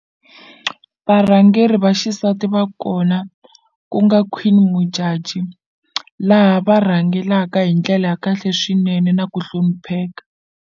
Varhangeri va xisati va kona ku nga Queen Modjadji laha va rhangelaka hi ndlela ya kahle swinene na ku hlonipheka.